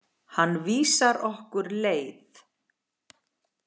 Hann vísar okkur leið.